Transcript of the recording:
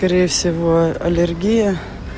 скорее всего аллергия